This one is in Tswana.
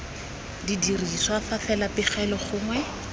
dirisiwa fa fela pegelo gongwe